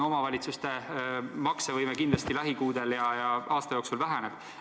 No omavalitsuste maksevõime lähikuudel ja aasta jooksul kindlasti väheneb.